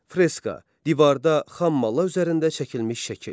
Freska: divarda xam malla üzərində çəkilmiş şəkil.